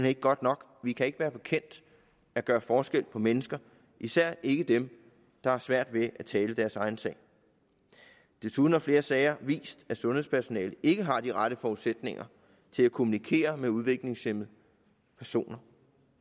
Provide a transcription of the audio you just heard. ikke godt nok vi kan ikke være bekendt at gøre forskel på mennesker især ikke dem der har svært ved at tale deres egen sag desuden har flere sager vist at sundhedspersonalet ikke har de rette forudsætninger til at kommunikere med udviklingshæmmede personer